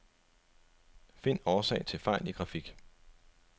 Find årsag til fejl i grafik.